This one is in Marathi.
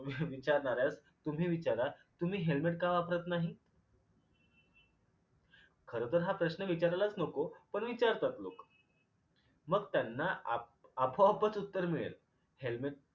विचारणाऱ्यास तुम्ही विचारा तुम्ही helmet का वापरत नाही? खरं तर हा प्रश्न विचारायलाच नको पण विचारतात लोक. मग त्यांना आपो आपोआपच उत्तर मिळेल helmet